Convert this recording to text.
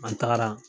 An taara